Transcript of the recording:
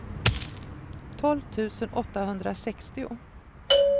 tolv tusen åttahundrasextio